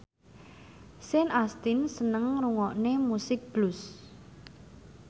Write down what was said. Sean Astin seneng ngrungokne musik blues